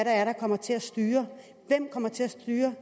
er der kommer til at styre det hvem kommer til at styre